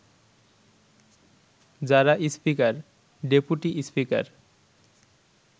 যারা speaker, deputy speaker